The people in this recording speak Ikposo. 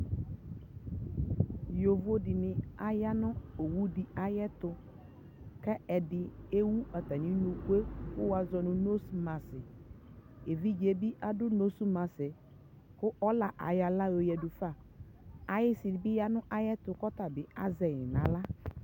yɔvɔ dini aya nʋ ɔwʋ di ayɛtʋ, kʋ ɛdini ɛwʋ atami nʋkʋɛ kʋ wazɔnʋ nose mask, ɛvidzɛ bi adʋ nose maskɛ kʋ ɔla ayɔ ala yɔ yadʋ fa, ayisi bi ya kʋ ɔta bi azɛ yi nʋ ala